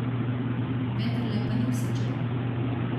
Vendarle pa ni vse črno.